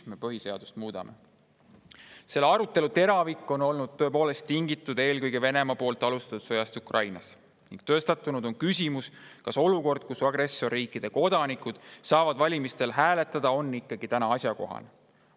Selle arutelu teravik on tõepoolest tingitud eelkõige Venemaa alustatud sõjast Ukrainas ning tõstatunud on küsimus, kas olukord, kus agressorriikide kodanikud saavad valimistel hääletada, on ikkagi asjakohane.